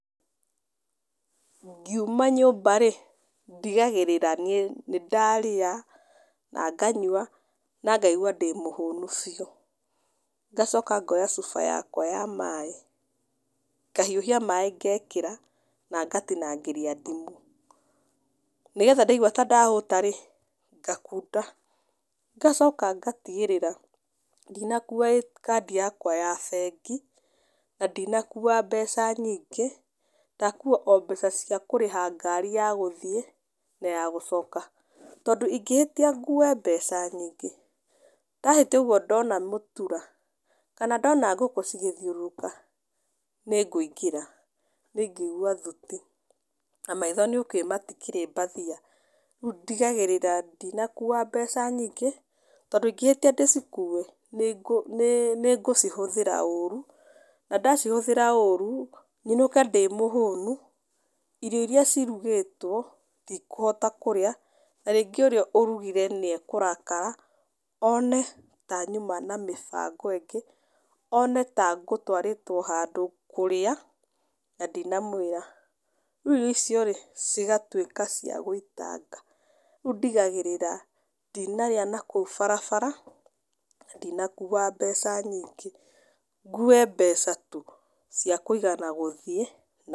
Ngiuma nyũmba-rĩ, ndigagĩrĩra niĩ nĩndarĩa na nganyua na ngaigua ndĩ mũhũnu biũ. Ngacoka ngoya cuba yakwa ya maĩ, ngahiũhia maĩ ngekĩra na ngatinangĩria ndimũ, nĩgetha ndaigua ta ndahũta-rĩ, ngakunda. Ngacoka ngatigĩrĩra ndinakua kandi yakwa ya bengi na ndinakua mbeca nyingĩ, ndakua o mbeca cia kũrĩha ngari ya gũthiĩ na ya gũcoka, tondũ ingĩhĩtia ngue mbeca nyingĩ, ndahĩtia ũguo ndona mũtura kana ndona ngũkũ cigĩthiũrũrũka nĩngũingĩra, nĩngũigua thuti na maitho nĩũkiũĩ matikĩrĩ mbathia. Rĩu ndigagĩrĩra ndinakua mbeca nyingĩ tondũ ingĩhĩtia ndĩcikue, nĩngũcihũthĩra ũru, na ndacihũthĩra ũru nyinũke ndĩ mũhũnu, irio iria cirugĩtwo ndikũhota kũrĩa, na rĩngĩ ũrĩa ũrugire nĩeũrakara one ta nyuma na mĩbango ĩngĩ, one ta ngũwarĩtwo handũ kũrĩa na ndinamwĩra, rĩu irio ico-rĩ cigatuĩka cia gũitanga. Rĩu ndigagĩrĩra ndinarĩa na kũu barabara na ndinakua mbeca nyingĩ, ngue mbeca tu cia kũigana gũthiĩ.